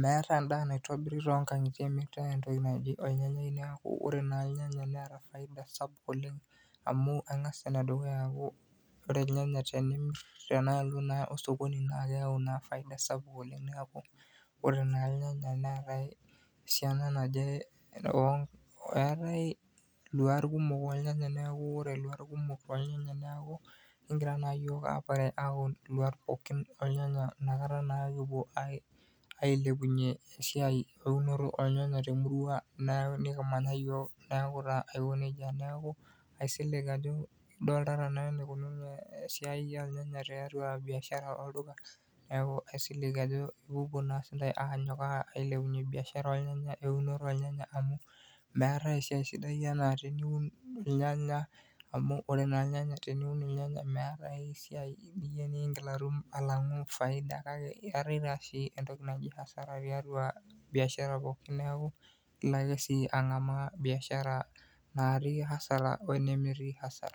meetai endaa naitobiri toonkangitie meetai entoki naji ornyanyai, Niaku naa ore ornyanyai neeta faida sapuk oleng amu engas enedukuyia aaku wore irnyanya tenimir tenaalo naa osokoni, naa keyau naa faida sapuk oleng, Niaku wore naa irnyanya neetai esiana naje. Eetai iluat kumok ornyanya niaku wore iluat kumok ornyanya niaku kegira naa iyiok ayepare aun iluat pookin ornyanya nakata naa kipuo ailepunye esiai eunoto ornyanya temurua nikimanya iyiok niaku taa aikonejia, niaku aisiling ajo idoltata naa enukununo esiai ornyanya tiatua biashara olduka. Niaku aisiling ajo ipopuo naa sindai aanyok ailepunye biashara ornyanya eunoto ornyanya amu meetai esiai sidai enaa teniun irnyanya amu wore naa irnyanya teniun irnyanya meetai esiai sidai ningil atum alangu faida kake eetai taa sii entoki naji asara tiatua biashara pookin niaku ilake sii angamaa biashara natii asara wenemetii asara.